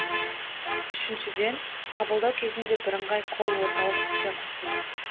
үшіншіден қабылдау кезінде бірыңғай колл орталық іске қосылды